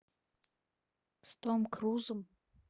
с том крузом